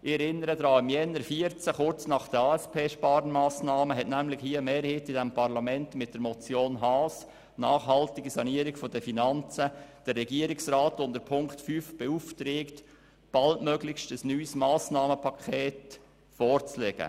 Ich erinnere an Folgendes: Kurz nach den ASP-Sparmassnahmen im Januar 2014 beauftragte eine Mehrheit des Parlaments den Regierungsrat mit Ziffer 5 der Motion Haas «Nachhaltige Sanierung der Finanzen», baldmöglichst ein neues Massnahmenpaket vorzulegen.